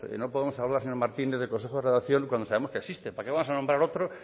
no podemos hablar señor martínez del consejo de redacción cuando sabemos que existe para qué vamos a nombrar otro